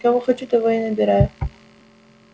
кого хочу того и набираю